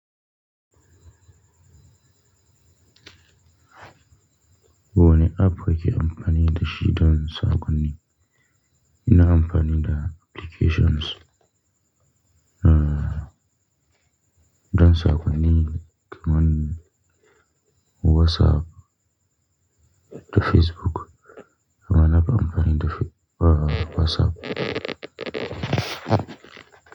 Wani app kake amfani da shi don sakonin. Ina amfani da applications dan sakonin kaman WhatsApp da Facebook. Mana ba amfani da fe-- uh, WhatsApp.